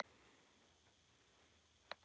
Þau áttu þá fimm börn.